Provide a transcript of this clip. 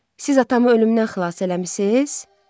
Siz atamı ölümdən xilas eləmisiniz?